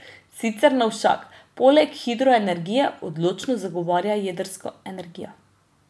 Sicer Novšak poleg hidroenergije odločno zagovarja jedrsko energijo.